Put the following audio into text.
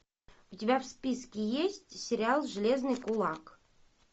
у тебя в списке есть сериал железный кулак